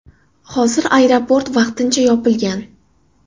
Hozir aeroport vaqtincha yopilgan.